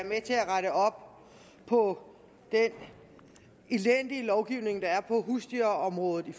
rette op på den elendige lovgivning der er på husdyrområdet vi